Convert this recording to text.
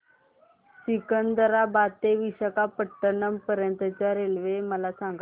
सिकंदराबाद ते विशाखापट्टणम पर्यंत च्या रेल्वे मला सांगा